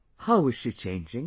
How is she changing